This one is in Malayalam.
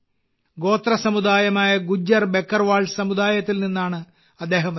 ഗോത്ര സമുദായമായ ഗുജ്ജർ ബക്കർവാൾ സമുദായത്തിൽ നിന്നാണ് അദ്ദേഹം വരുന്നത്